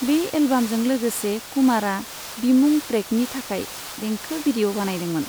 बे एलबामजों लोगोसे कुमारा बिमुं ट्रेकनि थाखाय देंखो भिडिय' बानायदोंमोन।